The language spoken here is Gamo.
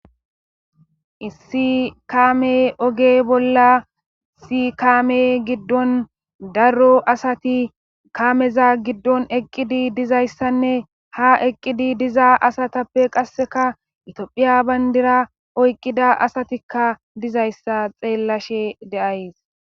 Issi kaame oge bolla sikaame giddon daro asati kaameza giddon eqqidi dizayssanne ha eqqidi diza asatappe qasseka itphiya bayndira oyqqida asatikka dizayssa xeellashe deays